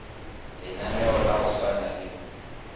lenaneo la go swana le